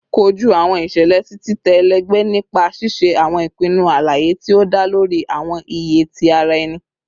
Koju awọn iṣẹlẹ ti titẹ ẹlẹgbẹ nipa ṣiṣe awọn ipinnu alaye ti o da lori awọn iye ti ara ẹni